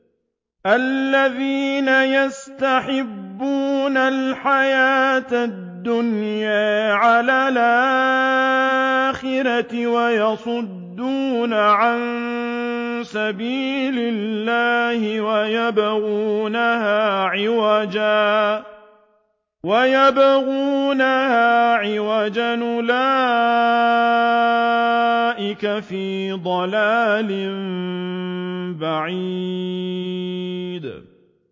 الَّذِينَ يَسْتَحِبُّونَ الْحَيَاةَ الدُّنْيَا عَلَى الْآخِرَةِ وَيَصُدُّونَ عَن سَبِيلِ اللَّهِ وَيَبْغُونَهَا عِوَجًا ۚ أُولَٰئِكَ فِي ضَلَالٍ بَعِيدٍ